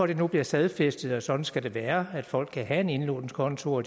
det nu bliver stadfæstet at sådan skal det være at folk kan have en indlånskonto og